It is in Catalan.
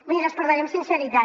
mirin els parlaré amb sinceritat